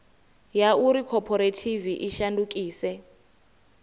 ya uri khophorethivi i shandukise